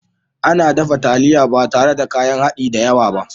Ana dafa taliya ba tare da kayan haɗi da yawa ba